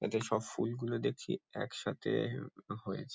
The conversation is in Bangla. এদের সব ফুল গুলি দেখছি একসাথে আ এ হয়েছে ।